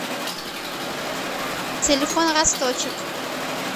телефон росточек